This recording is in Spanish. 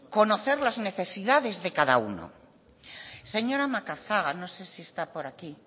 conocer las necesidades de cada uno señora macazaga no sé si está por aquí